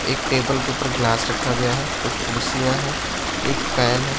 एक टेबल के ऊपर ग्लास रखा गया है कुछ कुड़सिया है एक फैन है।